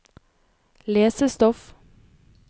lesestoff